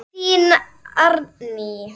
Þín, Árný.